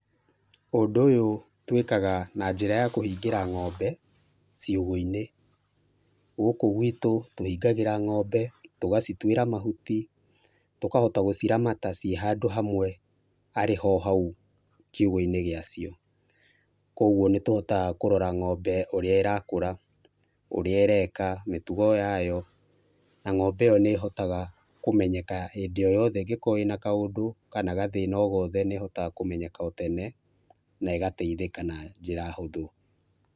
Ũndũ ũyũ twĩkaga na njĩra ya kũhingĩra ng'ombe ciugo-inĩ, gũkũ gwitũ tũhingagĩra ng'ombe, ũgacituĩra mahuti, tũkahota gũciramata ciĩ handũ hamwe arĩ ho hau kiugũ-inĩ gĩa cio, kwoguo nĩ tũhotaga kũrora ng'ombe ũrĩa ĩra kũra, ũrĩa ĩreka, mĩtugo yayo, na ng'ombe ĩyo nĩ ĩhothaga kũmenyeka hĩndĩ o yothe ĩna kaũndũ kana gathĩna o gothe nĩhotaga kũmenyeka tene, na ĩgateithĩka na njĩra hũthũ.